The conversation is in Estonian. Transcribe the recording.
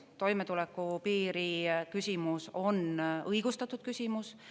Toimetulekupiiri küsimus on õigustatud küsimus.